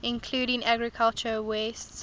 including agricultural wastes